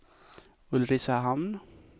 Ulricehamn